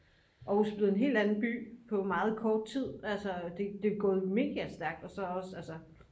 aarhus er blevet helt anden by på meget kort tid altså det er gået mega stærkt og så også altså